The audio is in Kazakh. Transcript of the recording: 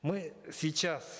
мы сейчас